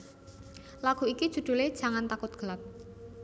Lagu iki judhule Jangan Takut Gelap